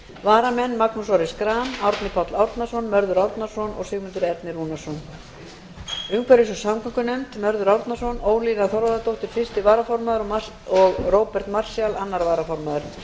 varamenn eru magnús orri schram árni páll árnason mörður árnason og sigmundur ernir rúnarsson umhverfis og samgöngunefnd mörður árnason ólína þorvarðardóttir fyrsti varaformaður og róbert marshall annar varaformaður